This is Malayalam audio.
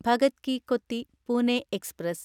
ഭഗത് കി കൊത്തി പൂനെ എക്സ്പ്രസ്